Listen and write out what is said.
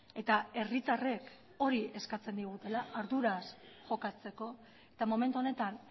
eta herritarrek hori eskatzen digutela arduraz jokatzeko eta momentu honetan